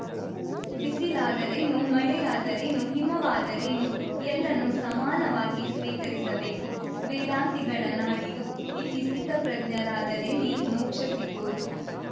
ಬಿಸಿಲಾದರೇನು ಮಳೆಯಾದರೇನು ಹಿಮವಾದರೇನು ಎಲ್ಲಾನೂ ಸಮಾನವಾಗಿ ಸ್ವೀಕರಿಸಬೇಕು ವೇದಾಂತಿಗಳ ನಾಡಿದು ಇಲ್ಲಿ ಸ್ಥಿತಪ್ರಜ್ಞರಾದರೇನೇ ಮೋಕ್ಷ ಸಿಗೋದು